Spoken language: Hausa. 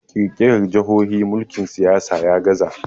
kirkirar jahohi mulkin siyasa ya gaza